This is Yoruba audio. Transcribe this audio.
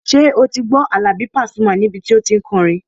Ṣé o ti gbọ́ Àlàbí Pasuma níbi tí o tí n kọrin?